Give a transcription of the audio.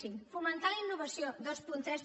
cinc fomentar la innovació vint tres